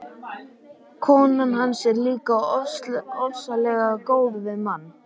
Konan hans er líka ofsalega góð við mann.